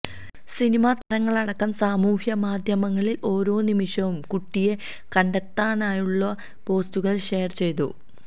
cinema താരങ്ങളടക്കം സാമൂഹികമാധ്യമങ്ങളില് ഓരോനിമിഷവും കുട്ടിയെ കണ്ടെത്താനായുള്ള പോസ്റ്റുകള് ഷെയര് ചെയ്തു